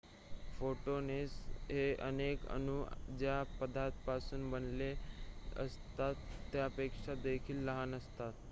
photons हे अनेक अणु ज्या पदार्थापासून बनलेले असतात त्यापेक्षा देखील लहान असतात